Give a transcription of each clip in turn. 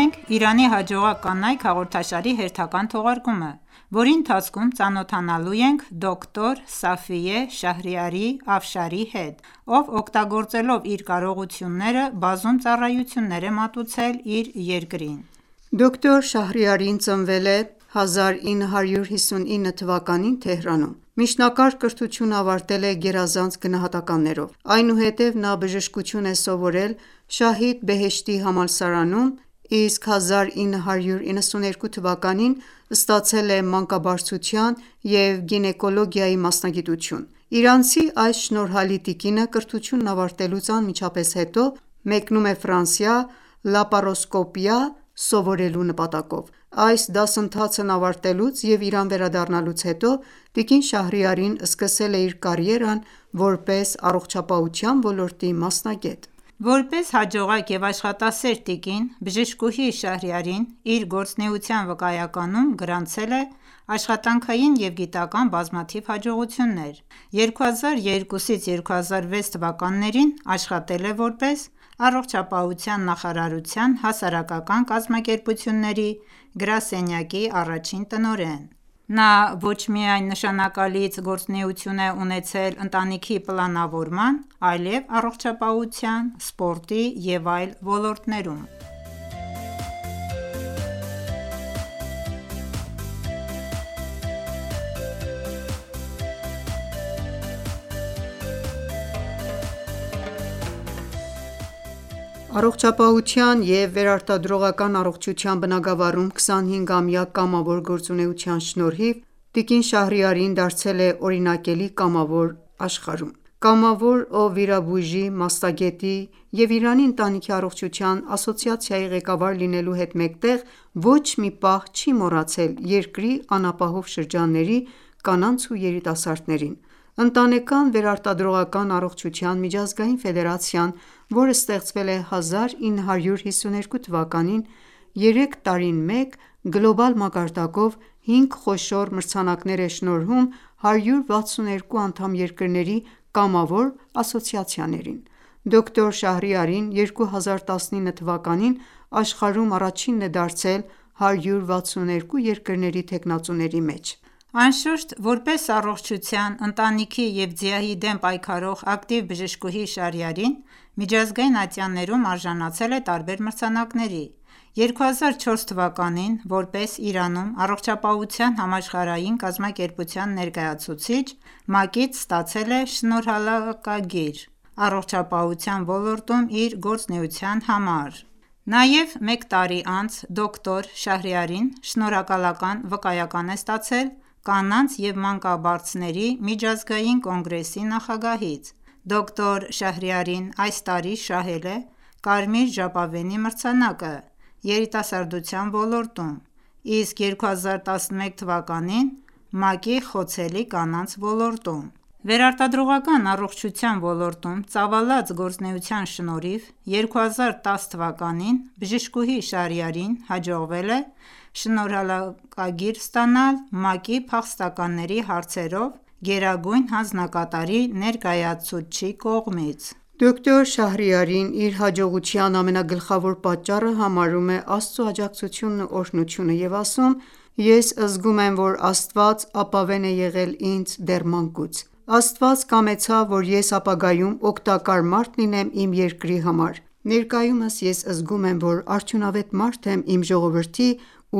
ենք «Իրանի հաջողակ կանայք» հաղորդաշարի հերթական թողարկումը, որի ընթացքում ծանոթանալու ենք դոկտոր Սաֆիե Շաhրիարի Աֆշարի հետ, ով օգտագործելով իր կարողությունները բազում ծառայություններ է մատուցել իր երկրին։ Դոկտոր Շահրիարին ծնվել է արեգակնային հիջրեթի 1338 (1959) թվականին Թեհրանում։ Միջնակարգ կրթությունն ավարտել է գերազանց գնահատականներով։ Այնուհետև նա բժշկություն է սովորել «Շահիդ Բեհեշթի» համալսարանում, իսկ արեգակնային հիջրեթի 1371 թվականին (1992 թ.) ստացել է մանկաբարձության և գինեկոլոգիայի մասնագիտություն։ Իրանցի այս շնորհալի տիկինը կրթությունն ավարտելուց անմիջապես հետո մեկնում է Ֆրանսիա՝ լապարոսկոպիա (մանրադիտակային վիրաբուժություն) սովորելու նպատակով։ Այս դասընթացն ավարտելուց և Իրան վերադառնալուց հետո տիկին Շահրիարին սկսել է իր կարիերան որպես առողջապահության ոլորտի մասնագետ։ Որպես հաջողակ և աշխատասեր տիկին, բժշկուհի Շահրիարին իր գործուենության վկայականում գրանցել է աշխատանքային և գիտական բազմաթիվ հաջողություններ: Արեգակնային հիջրեթի 1381-1385 թվականներին (2002-2006 թվականներին) աշխատել է որպես Առողջապահության նախարարության հասարակական կազմակերպությունների գրասենյակի առաջին տնօրեն։ Նա ոչ միայն նշանակալից գործունեություն է ունեցել ընտանիքի պլանավորման, այլեւ առողջապահության, սպորտի եւ այլ ոլորտներում։ Առողջապահության և վերարտադրողական առողջության բնագավառում 25-ամյա կամավոր գործունեության շնորհիվ նա դարձել է օրինակելի կամավոր աշխարհում։ Կամավոր, ով վիրաբույժի, մասնագետի և Իրանի ընտանիքի առողջության ասոցիացիայի ղեկավար լինելու հետ մեկտեղ ոչ մի պահ չի մոռացել երկրի անապահով շրջանների կանանց ու երիտասարդներին: Ընտանեկան վերարտադրողական առողջության միջազգային ֆեդերացիան, որը ստեղծվել է 1952 թվականին, երեք տարին մեկ գլոբալ մակարդակով հինգ խոշոր մրցանակներ է շնորհում 162 անդամ երկրների կամավոր ասոցիացիաներին։ Դոկտոր Շահրիարին 2019 թվականին աշխարհում առաջինն է դարձել 162 երկրների թեկնածուների մեջ։ Անշուշտ, որպես առողջության, ընտանիքի և ՁԻԱՀ-ի դեմ պայքարող ակտիվ բժշկուհի Շահրիարին միջազգային ատյաններում արժանացել է տարբեր մրցանակների: 2004 թվականին, որպես Իրանում Առողջապահության համաշխարհային կազմակերպության ներկայացուցիչ, ՄԱԿ-ից ստացել է շնորհակալագիր՝ առողջապահության ոլորտում իր գործունեության համար։ Նաև մեկ տարի անց դոկտոր Շահրիարին շնորհակալական վկայական է ստացել Կանանց և մանկաբարձների միջազգային կոնգրեսի նախագահից: Դոկտոր Շահրիարին այս տարի շահել է Կարմիր ժապավենի մրցանակը (ՁԻԱՀ-ի դեմ պայքար) երիտասարդության ոլորտում, իսկ 2011 թվականին՝ ՄԱԿ-ի խոցելի կանանց ոլորտում: Վերարտադրողական առողջության ոլորտում ծավալած գործունեության շնորհիվ 2010 թվականին բժշկուհի Շահրիարիին հաջողվել է շնորհակալագիր ստանալ ՄԱԿ-ի փախստականների հարցերով գերագույն հանձնակատարի ներկայացուցչի կողմից։ Դոկտոր Շահրիարին իր հաջողության ամենագլխավոր պատճառը համարում է Աստծո աջակցությունն ու օրհնությունը և ասում. «Ես զգում եմ, որ Աստված ապավեն է եղել ինձ դեռ մանկուց»։ Աստված կամեցավ, որ ես ապագայում օգտակար մարդ լինեմ իմ երկրի համար։ Ներկայումս ես զգում եմ, որ արդյունավետ մարդ եմ իմ ժողովրդի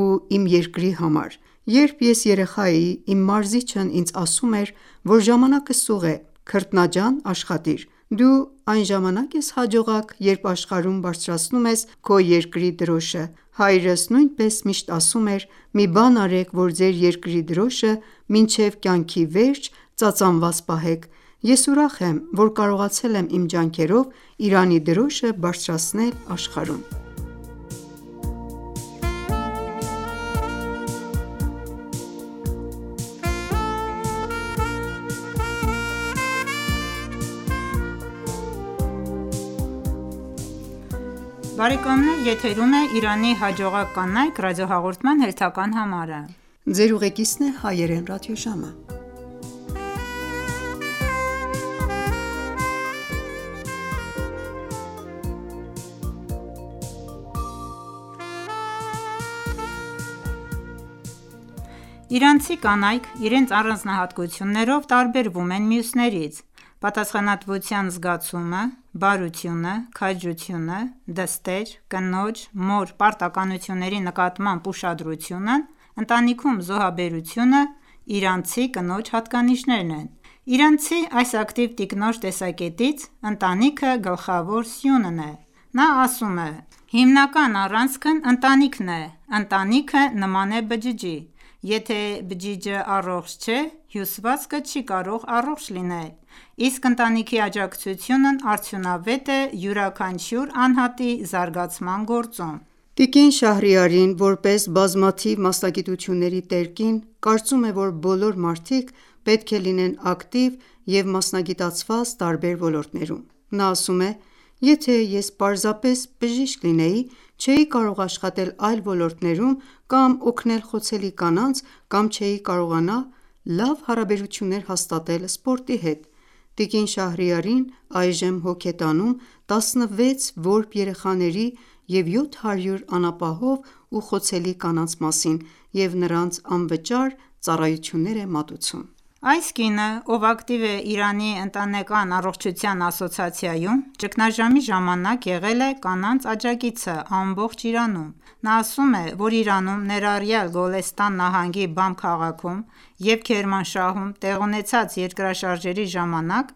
ու երկիր Իրանի համար։ Երբ ես երեխա էի, իմ մարզիչն ինձ ասում էր, որ ժամանակը սուղ է, քրտնաջան աշխատիր։ Դու այն ժամանակ ես հաջողակ, երբ աշխարհում բարձրացնում ես քո երկրի դրոշը։ Հայրս նույնպես միշտ ասում էր՝ մի բան արեք, որ ձեր երկրի դրոշը մինչև կյանքի վերջ ծածանված պահեք, ես ուրախ եմ, որ կարողացել եմ իմ ջանքերով Իրանի դրոշը բարձրացնել աշխարհում։ Իրանցի կանայք իրենց առանձնահատկություններով տարբերվում են մյուսներից։ Պատասխանատվության զգացումը, բարությունը, քաջությունը, դստեր, կնոջ, մոր պարտականությունների նկատմամբ ուշադրությունը, ընտանիքում զոհաբերությունը իրանցի կնոջ հատկանիշներն են: Իրանցի այս ակտիվ տիկնոջ տեսակետից ընտանիքը գլխավոր սյունն է։ Նա ասում է՝ «Հիմնական առանցքը ընտանիքն է։ Ընտանիքը նման է բջջի, եթե բջիջը առողջ չէ, հյուսվածքը չի կարող առողջ լինել, իսկ ընտանիքի աջակցությունն արդյունավետ է յուրաքանչյուր անհատի զարգացման գործում: Տիկին Շահրիարին, որպես բազմաթիվ մասնագիտությունների տեր կին, կարծում է, որ բոլոր մարդիկ պետք է լինեն ակտիվ և մասնագիտացված տարբեր ոլորտներում։ Նա ասում է. «Եթե ես պարզապես բժիշկ լինեի, չէի կարողանա աշխատել այլ ոլորտներում կամ օգնել խոցելի կանանց, կամ չէի կարողանա լավ հարաբերություններ հաստատել սպորտի հետ»: Տիկին Շահրիարին այժմ հոգ է տանում 16 որբ երեխաների և 700 անապահով ու խոցելի կանանց մասին և նրանց անվճար ծառայություններ է մատուցում։ Այս կինը, ով ակտիվ է Իրանի ընտանեկան առողջության ասոցիացիայում, ճգնաժամի ժամանակ եղել է կանանց աջակիցը ամբողջ Իրանում: Նա ասում է,որ Իրանում, ներառյալ Գոլեստան նահանգի Բամ քաղաքում և Քերմանշահում տեղի ունեցած երկրաշարժերի ժամանակ,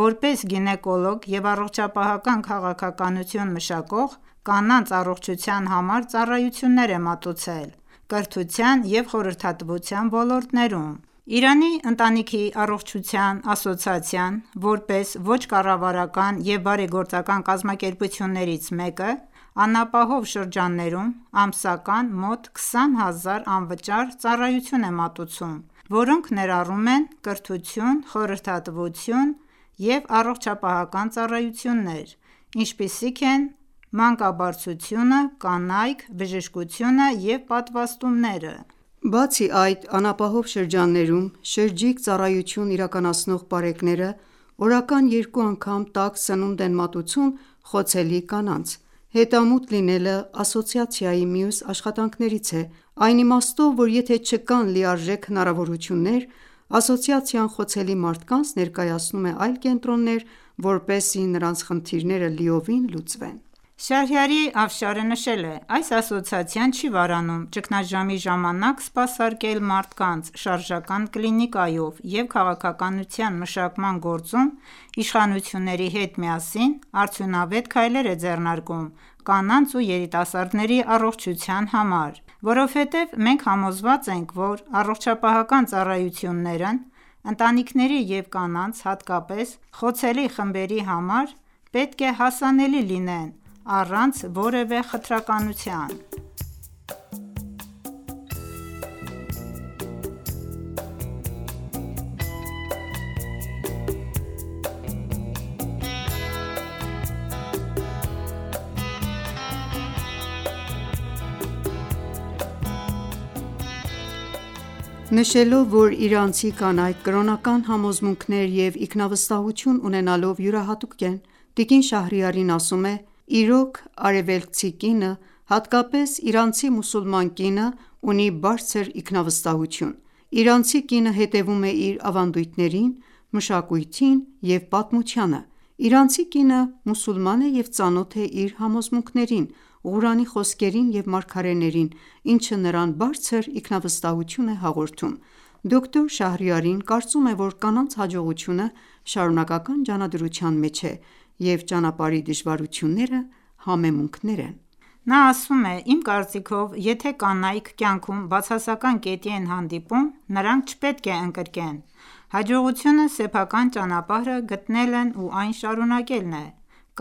որպես գինեկոլոգ և առողջապահական քաղաքականություն մշակող՝ կանանց առողջության համար ծառայություններ է մատուցել կրթության և խորհրդատվության ոլորտներում։ Իրանի ընտանիքի առողջության ասոցիացիան, որպես ոչ կառավարական և բարեգործական կազմակերպություններից մեկը, անապահով շրջաններում ամսական մոտ 20,000 անվճար ծառայություն է մատուցում, որոնք ներառում են կրթություն, խորհրդատվություն և առողջապահական ծառայություններ, ինչպիսիք են մանկաբարձությունը, կանայք, բժշկությունը և պատվաստումները: Բացի այդ, անապահով շրջաններում շրջիկ ծառայություն իրականացնող պարեկները օրական երկու անգամ տաք սնունդ են մատուցում խոցելի կանանց: Հետամուտ լինելը ասոցիացիայի մյուս աշխատանքներից է, այն իմաստով, որ եթե չկան լիարժեք հնարավորություններ, ասոցիացիան խոցելի մարդկանց ներկայացնում է այլ կենտրոններ, որպեսզի նրանց խնդիրները լիովին լուծվեն: Շահրիարի Աֆշարը նշել է. «Այս ասոցիացիան չի վարանում ճգնաժամի ժամանակ սպասարկել մարդկանց շարժական կլինիկայով, և քաղաքականության մշակման գործում իշխանությունների հետ միասին արդյունավետ քայլեր է ձեռնարկում կանանց և երիտասարդների առողջության համար: Որովհետև մենք համոզված ենք, որ առողջապահական ծառայությունները ընտանիքների և կանանց, հատկապես խոցելի խմբերի համար, պետք է հասանելի լինեն առանց որևէ խտրականության»: Նշելով, որ իրանցի կանայք կրոնական համոզմունքներ և ինքնավստահություն ունենալով յուրահատուկ են, Տիկին Շահրիարին ասում է,-«Իրոք, արևելքցի կինը, հատկապես իրանցի մուսուլման կինը, ունի բարձր ինքնավստահություն։ Իրանցի կինը հետևում է իր ավանդույթներին, մշակույթին և պատմությանը։ Իրանցի կինը մուսուլման է և ծանոթ է իր համոզմունքներին, Ղուրանի խոսքերին և մարգարեներին, ինչը նրան բարձր ինքնավստահություն է հաղորդում»։ Դոկտոր Շահրիարին կարծում է, որ կանանց հաջողությունը շարունակական ջանադրության մեջ է, և ճանապարհի դժվարությունները համեմումքներ են։ Նա ասում է. «Իմ կարծիքով, եթե կանայք կյանքում բացասական կետի են հանդիպում, նրանք չպետք է ընկրկեն։ Հաջողությունը սեփական ճանապարհը գտնելն ու այն շարունակելն է։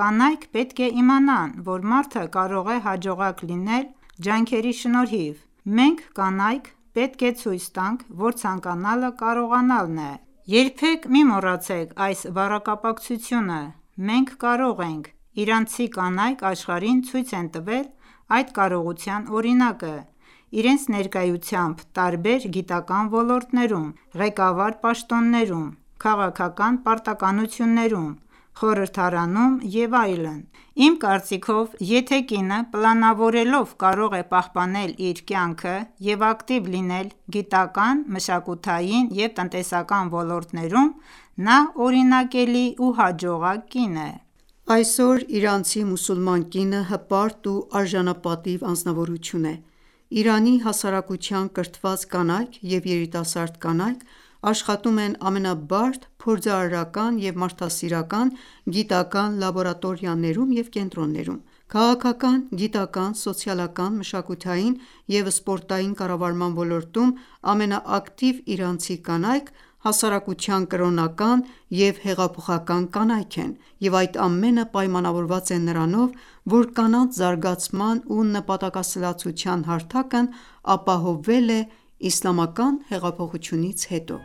Կանայք պետք է իմանան, որ մարդը կարող է հաջողակ լինել ջանքերի շնորհիվ։ Մենք՝ կանայք, պետք է ցույց տանք, որ ցանկանալը կարողանալն է։ Երբեք մի մոռացեք այս բառակապակցությունը՝ մենք կարող ենք, իրանցի կանայք աշխարհին ցույց են տվել այդ կարողության օրինակը՝ իրենց ներկայությամբ տարբեր գիտական ոլորտներում, ղեկավար պաշտոններում, քաղաքական պարտականություններում, խորհրդարանում և այլն։ Իմ կարծիքով, եթե կինը պլանավորելով կարող է պահպանել իր կյանքը և ակտիվ լինել գիտական, մշակութային և տնտեսական ոլորտներում, նա օրինակելի ու հաջողակ կին է»։ Այսօր իրանցի մուսուլման կինը հպարտ ու արժանապատիվ անձնավորություն է։ Իրանի հասարակության կրթված կանայք և երիտասարդ կանայք աշխատում են ամենաբարդ փորձարարական և մարդասիրական գիտական լաբորատորիաներում և կենտրոններում: Քաղաքական, գիտական, սոցիալական, մշակութային և սպորտային կառավարման ոլորտում ամենաակտիվ իրանցի կանայք հասարակության կրոնական և հեղափոխական կանայք են: Եվ այս ամենը պայմանավորված է նրանով, որ կանանց զարգացման ու նպատակասլացության հարթակն ապահովվել է իսլամական հեղափոխությունից հետո։